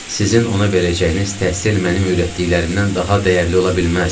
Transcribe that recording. Sizin ona verəcəyiniz təhsil mənim öyrətdiklərimdən daha dəyərli ola bilməz.